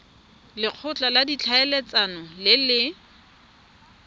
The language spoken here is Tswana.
lekgotla la ditlhaeletsano le le